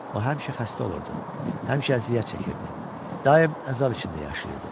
O həmişə xəstə olurdu, həmişə əziyyət çəkirdi, daim əzab içində yaşayırdı.